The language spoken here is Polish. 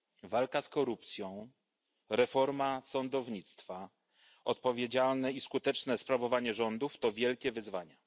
Walka z korupcją, reforma sądownictwa, odpowiedzialne i skuteczne sprawowanie rządów to wielkie wyzwania.